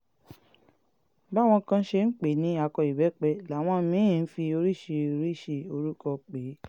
báwọn kan ṣe ń pè é ní akọ ìbẹ́pẹ́ làwọn mí-ín ń fi oríṣiríṣii orúkọ pè é